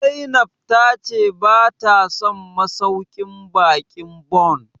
Zainab ta ce bata son masauƙin baƙin Bon?